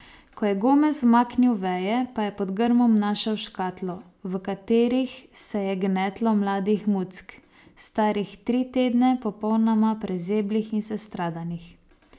Ko je Gomez umaknil veje, pa je pod grmom našel škatlo, v katerih se je gnetlo mladih muck, starih tri tedne, popolnoma prezeblih in sestradanih.